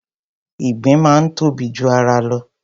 Ìgbín máa ń tóbi ju ara lọ.